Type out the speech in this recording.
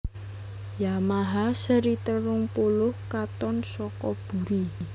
Yamaha seri telung puluh katon saka buri